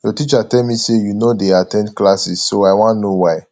your teacher tell me say you no dey at ten d classes so i wan know why